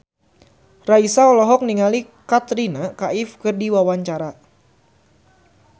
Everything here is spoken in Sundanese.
Raisa olohok ningali Katrina Kaif keur diwawancara